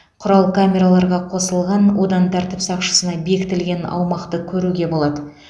құрал камераларға қосылған одан тәртіп сақшысына бекітілген аумақты көруге болады